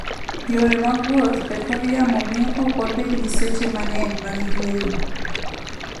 Yore mag wuoth e kor yamo miyo ok wabed gi seche mang'eny mag yueyo.